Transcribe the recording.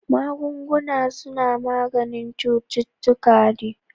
Magunguna suna maganin cututtuka ne